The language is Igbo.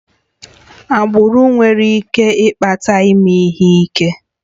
Agbụrụ nwere ike ịkpata ime ihe ike